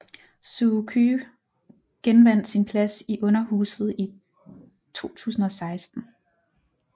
Suu Kyi genvandt sin plads i underhuset i 2016